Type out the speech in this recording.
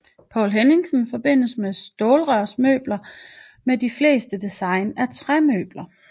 Poul Henningsen forbindes med stålrørsmøbler med de fleste design er træmøbler